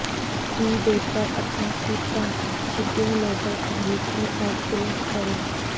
ای بے پر اپنا خود کار شپنگ لیبل خریدنے اور پرنٹ کریں